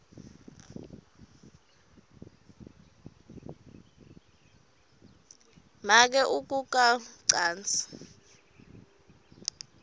make ukuka wcansi